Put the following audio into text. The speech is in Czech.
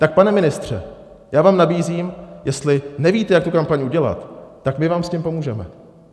Tak pane ministře, já vám nabízím, jestli nevíte, jak tu kampaň udělat, tak my vám s tím pomůžeme.